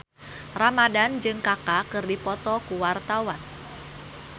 Iqbaal Dhiafakhri Ramadhan jeung Kaka keur dipoto ku wartawan